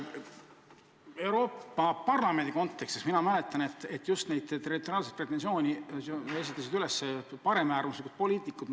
Euroopa Parlamendi tööst ma mäletan, et niisuguseid territoriaalseid pretensioone esitasid just paremäärmuslikud poliitikud.